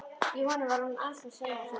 Í honum var hún andstæða sjálfrar sín.